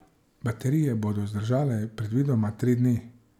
Baterije bodo zdržale predvidoma tri dni.